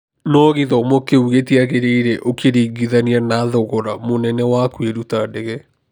No gĩthomo kĩu gĩtiagĩrĩire ũkĩringithania na thogora mũnene wa kũĩruta ndege.